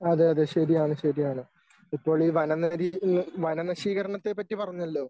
അതെ അതെ ശരിയാണ് ശരിയാണ് ഇപ്പോൾ ഈ വന നരീ വനനശീകരണത്തെ പറ്റി പറഞ്ഞല്ലോ